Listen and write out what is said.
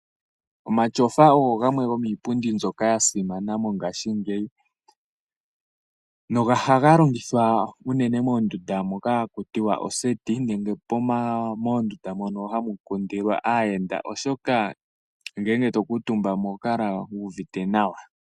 Oma tyofa ogo gamwe gomii pundi mbyoka ya simana mo ngaashingeyi nohaga longithwa unene moondunda moka haku tiwa oseti, nenge moondunda mono hamu kundilwa aayenda, oshoka ngele to kuu tumba mo oho kala wu uvite nawa.